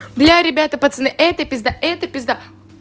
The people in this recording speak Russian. бля ребята пацаны это пизда это пизда